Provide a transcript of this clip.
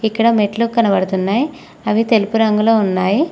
ఇక్కడ మెట్లు కనబడుతున్నాయి అవి తెలుపు రంగు లో ఉన్నాయి.